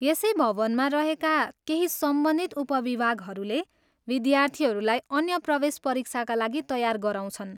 यसै भवनमा रहेका केही सम्बन्धित उपविभागहरूले विद्यार्थीहरूलाई अन्य प्रवेश परीक्षाका लागि तयार गराउँछन्।